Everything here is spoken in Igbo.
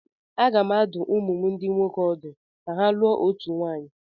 Aga m adụ ụmụ m ndị nwoke ọdụ ka ha lụọ otu nwaanyị.